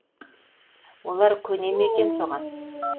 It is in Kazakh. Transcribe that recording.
олар көне ма екен соған